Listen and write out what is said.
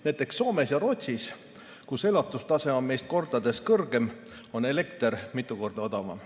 Näiteks Soomes ja Rootsis, kus elatustase on meist mitu korda kõrgem, on elekter mitu korda odavam.